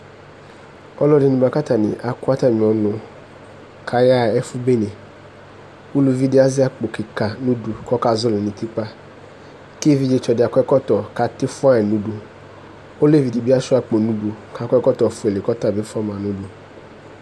Ɔlʋ ɛdini bʋakʋ akʋ atmi ɔnʋ kʋ aya ɣa ɛfʋ bene ʋlʋvi di azɛ akpo kika nʋ ʋdʋ kʋ ɔka zɔli nʋ utikpa kʋ evidzetsɔ di akɔ ɛkɔtɔ kʋ ati fuayi nʋ ʋdʋ olevi dibi asuia akpo nʋ ʋdʋ kʋ akɔ ɛkɔtɔ fuele kʋ atabi fʋama nʋ ʋdʋ